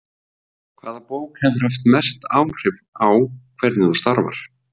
Hvaða bók hefur haft mest áhrif á hvernig þú starfar?